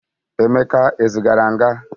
emeka e zigara nga?